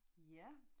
Ja